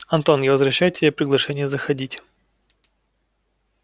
антон я возвращаю тебе приглашение заходить